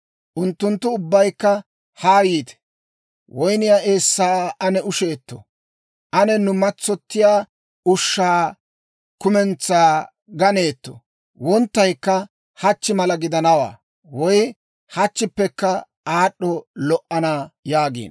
Unttunttu ubbaykka, «Haa yiite; woyniyaa eessaa ane usheeto. Ane nu matsoyiyaa ushshaa kumentsaa gaanetoo! Wonttaykka hachchi mala gidanawaa; woy hachchippekka aad'd'i lo"ana» yaagiino.